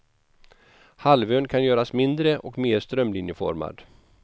Halvön kan göras mindre och mer strömlinjeformad.